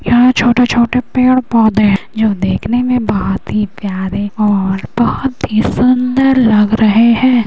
यहाँ छोटा-छोटे पेड़ पौधे जो देखने में बहुत ही प्यारे और बहुत ही सुंदर लग रहे हैं।